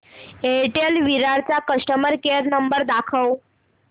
Airtel Virar चा customer care number दाखव